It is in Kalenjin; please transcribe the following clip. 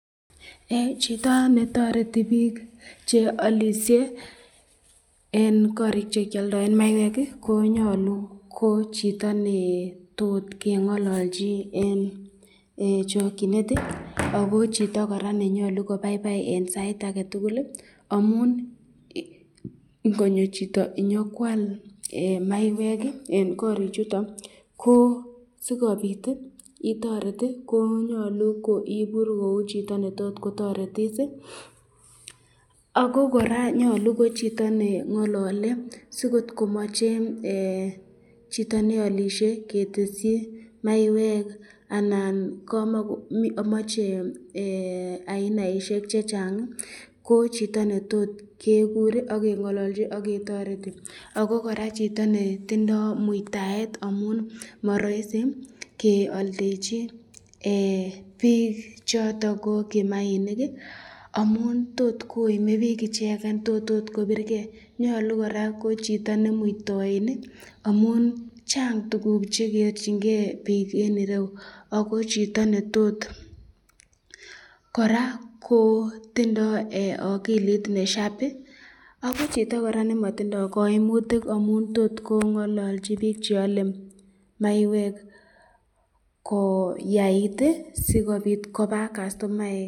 Chito netoriti bik chealisye eng korik chekyaldaen maiywek ko nyolu ko chito neo tot kengolilchi eng chakyinet, ako chito koraa nenyalu kobaibai eng sait ake tukul amun ingonyo chito nyokwal maywek eng korik chuton ko sikobit itoret ko nyalu ko ibur kou chito netot kotoretis, ako koraa nyolu ko chito nengalale si kot komache chito nealisye ketesyi maywek anan mache ainaishek chechang ,ko chito netot kekur akengalalchi akotareti, ako koraa chito netindo muitaet amun maraisi kealdechi bik choton ko kimainik amun tot koime bik icheket ,tot akot kobirken, nyalu koraa ko chito ne muitoin amun Chang chekeachin ken bik eng ireu ,koraa ko tindo akilit be sharp ako chito koraa nematindo kaimutik amun tot kongalalchi bik cheale maiywek koyait sikobit koba castomaek.